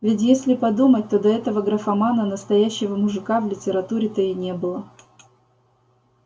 ведь если подумать то до этого графомана настоящего мужика в литературе-то и не было